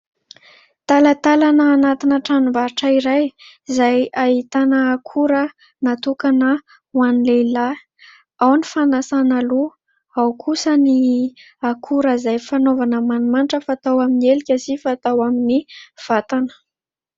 Talatalana anatina tranom-barotra iray izay hahitana akora natokana ho any lehilahy; ao ny fanasana loha ao kosa ny akora izay fanaovana manomanitra fatao amin'ny elika sy fatao amin'ny fatana.